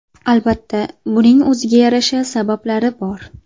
Albatta, buning o‘ziga yarasha sabablari bor.